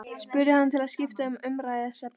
spurði hann til að skipta um umræðuefni.